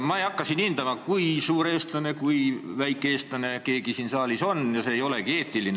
Ma ei hakka täna hindama, kui suur või väike eestlane keegi siin saalis on – see ei oleks eetiline.